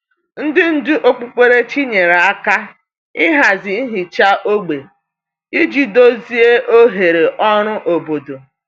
Ndị ndú okpukperechi nyere aka hazie nhicha ógbè iji dozie oghere ọrụ obodo.